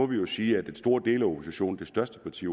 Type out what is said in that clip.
vi må sige at en stor del af oppositionen det største parti